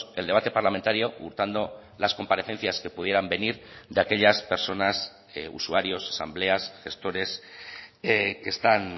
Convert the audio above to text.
el debate parlamentario hurtando las comparecencias que pudieran venir de aquellas personas usuarios asambleas gestores que están